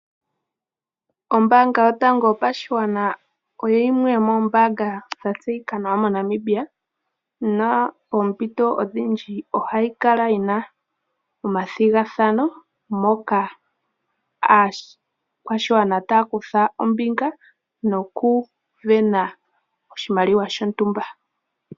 Ombaanga yotango yopashigwana oyo yimwe yomoombanga dha tseyika nawa moNamibia. Oompito odhindji ohayi kala yi na omathigathano moka aakwashigwana taya kutha ombinga nokusindana oshimaliwa shontumba.